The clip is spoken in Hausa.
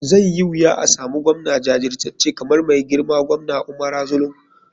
Zai yi wuya asamu govna jajircace kamar mai girma govna umara zulum.